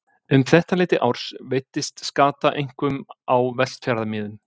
Um þetta leyti árs veiddist skata einkum á Vestfjarðamiðum.